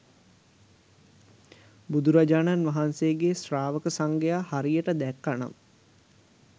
බුදුරජාණන් වහන්සේගේ ශ්‍රාවක සංඝයා හරියට දැක්ක නම්